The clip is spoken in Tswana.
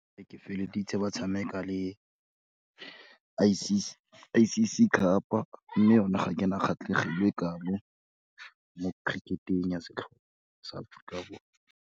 Ee, ke feleleditse ba tshameka le, I_C_C cup-a, mme yone ga ke na kgatlhegelo e kalo mo cricket-eng ya setlhopha sa Aforika Borwa.